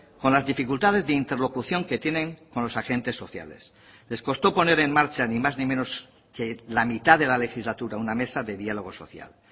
con las dificultades de interlocución que tienen con los agentes sociales les costó poner en marcha ni más ni menos que la mitad de la legislatura una mesa de diálogo social